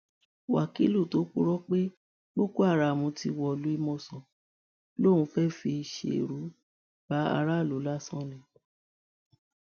wákìlú tó purọ pé boko haram ti wọlú ìmọsán lòún fẹẹ fi ṣerú bá aráàlú lásán ni